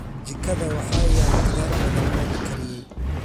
Jikada waxaa yaal khudaar badan oo la kariyey.